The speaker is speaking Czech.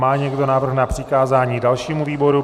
Má někdo návrh na přikázání dalšímu výboru?